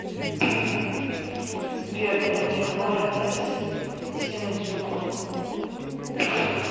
сбер дневник вора из синдзюку